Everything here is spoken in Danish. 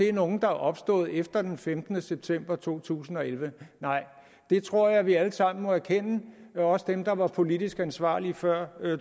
er nogle der er opstået efter den femtende september to tusind og elleve nej det tror jeg vi alle sammen må erkende også dem der var politisk ansvarlige før